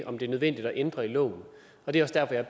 om det er nødvendigt at ændre i loven det er også derfor jeg